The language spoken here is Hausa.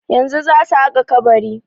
Yanzu zasu haƙa kabari.